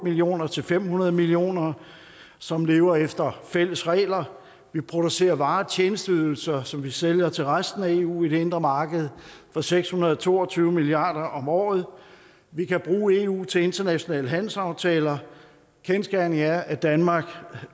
millioner til fem hundrede millioner som lever efter fælles regler vi producerer varer og tjenesteydelser som vi sælger til resten af eu i det indre marked for seks hundrede og to og tyve milliard om året vi kan bruge eu til internationale handelsaftaler kendsgerningen er at danmark